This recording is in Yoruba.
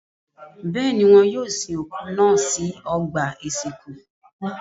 Bẹ́ẹ̀ ni, wọ́n yóò sin òkú náà sí ọgbà-ìsìnkú.